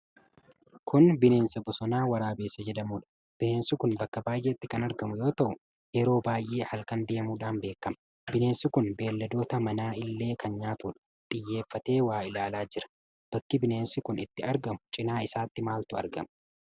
Kun bineensa bosonaa Waraabessa jedhamudha. Bineensi kun bakka baay'etti kan argamu yoo ta'u yeroo baay'ee halkan deemudhaan beekama. Bineensi kun beelladoota mana illee kan nyaatudha. Xiyyeeffatee waa ilaalaa jira. Bakki bineensi kun itti argamu cinaa isaatti maaltu argama?